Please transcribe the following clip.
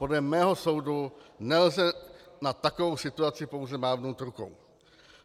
Podle mého soudu nelze nad takovou situací pouze mávnout rukou.